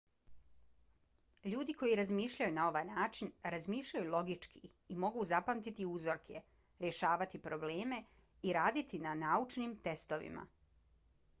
ljudi koji razmišljaju na ovaj način razmišljaju logički i mogu zapamtiti uzorke rješavati probleme i raditi na naučnim testovima